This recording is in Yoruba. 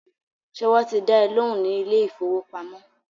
Ṣé wọ́n ti dá ẹ lóhùn ní ilé ìfọwọ́pamo?